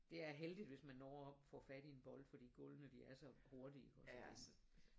Det er heldigt hvis man når op og får fat i en bold fordi gulvene de er så hurtige og